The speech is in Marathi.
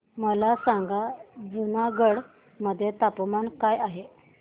मला सांगा जुनागढ मध्ये तापमान काय आहे